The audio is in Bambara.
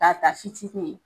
Ka ta fitinin